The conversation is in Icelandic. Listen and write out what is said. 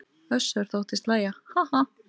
Össur þóttist hlæja:- Ha ha.